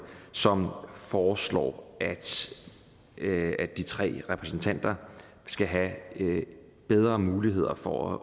som foreslår at de tre repræsentanter skal have bedre muligheder for